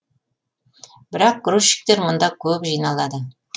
бірақ грузчиктер мұнда көп жиналады